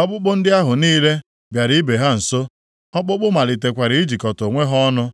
ọkpụkpụ ndị ahụ niile bịara ibe ha nso; ọkpụkpụ malitekwara ijikọta onwe ha ọnụ.